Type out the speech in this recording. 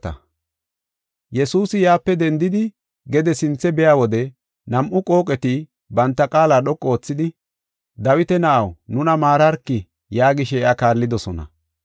Yesuusi yaape dendidi gede sinthe biya wode nam7u qooqeti banta qaala dhoqu oothidi, “Dawita na7aw, nuna maararki” yaagishe iya kaallidosona.